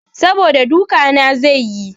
Saboda duka na zai yi.